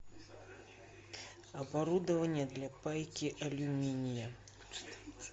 оборудование для пайки алюминия